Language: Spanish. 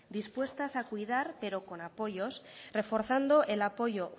dispuestas a cuidar pero con apoyos reforzando el apoyo